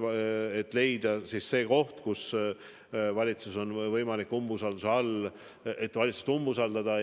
See võiks olla koht, kus on võimalik valitsust umbusaldada,